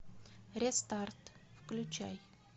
рестарт включай